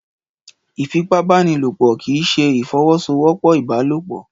Ìfipábánilòpọ̀ kì í ṣe ìfọwọ́sowọ́pọ̀ ìbálòpọ̀.